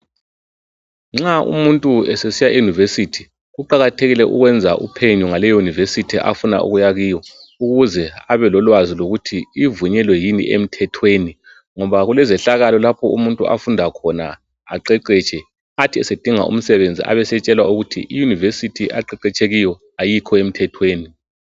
Nxa umuntu esesiya eUniversity kuqakathekile ukwenza uphenyo ngaleyo University afuna ukuya kiyo ukuze abelolwazi ukuthi ivumelekile yini emthethweni ngoba kulezehlakalo lapho umuntu afunda khona aqeqetshe lapho sedinga umsebenzi ebesetshelwa ukthi iUniversity aqeqetshwe kiyo ayikho emthethweni